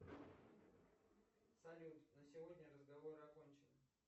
салют на сегодня разговоры окончены